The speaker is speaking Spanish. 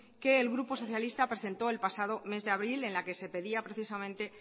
que el grupo socialista presentó el pasado mes de abril en la que se pedía precisamente